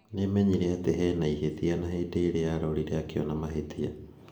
nĩmenyire atĩ hena ihĩtia na hĩndĩ ĩrĩa arorire akĩona mahïtia